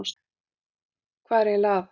Hvað er eiginlega að?